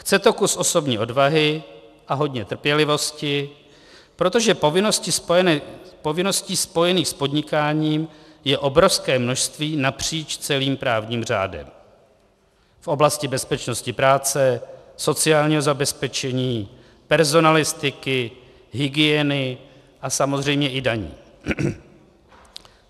Chce to kus osobní odvahy a hodně trpělivosti, protože povinností spojených s podnikáním je obrovské množství napříč celým právním řádem: v oblasti bezpečnosti práce, sociálního zabezpečení, personalistiky, hygieny a samozřejmě i daní.